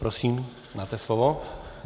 Prosím, máte slovo.